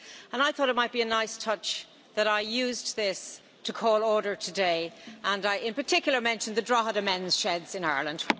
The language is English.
I thought it might be a nice touch for me to use this to call order today, and I in particular mention the Drogheda Men's Sheds in Ireland.